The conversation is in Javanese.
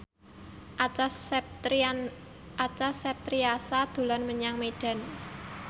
Acha Septriasa dolan menyang Medan